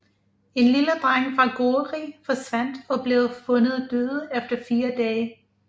En lille dreng fra Gori forsvandt og blev fundet død efter fire dage